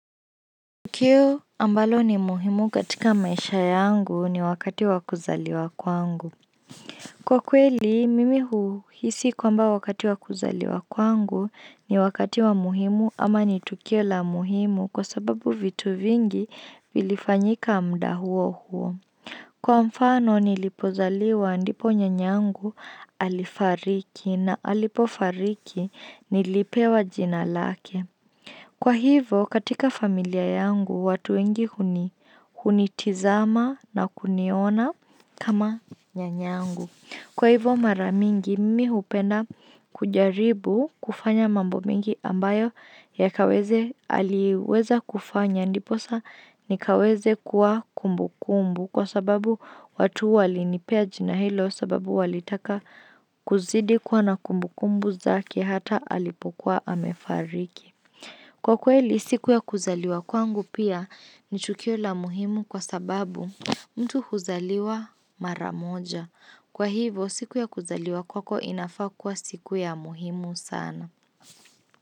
Tukio ambalo ni muhimu katika maisha yangu ni wakati wa kuzaliwa kwangu. Kwa kweli, mimi huuhisi kwamba wakati wa kuzaliwa kwangu ni wakati wa muhimu ama ni tukio la muhimu kwa sababu vitu vingi vilifanyika mda huo huo. Kwa mfano nilipozaliwa ndipo nyanyangu alifariki na alipofariki nilipewa jina lake. Kwa hivo katika familia yangu watu wengi hunitizama na kuniona kama nyanyangu. Kwa hivo mara mingi mi hupenda kujaribu kufanya mambo mengi ambayo aliweza kufanya ndiposa ni kaweze kuwa kumbukumbu kwa sababu watu walinipea jina hilo sababu walitaka kuzidi kuwa na kumbu kumbu zake hata alipokua amefariki. Kwa kweli siku ya kuzaliwa kwangu pia ni chukio la muhimu kwa sababu mtu huzaliwa mara moja. Kwa hivo siku ya kuzaliwa kwako inafaa kuwa siku ya muhimu sana.